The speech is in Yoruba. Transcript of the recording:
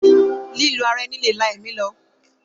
Lílù ara ẹni lè la ẹ̀mí lọ.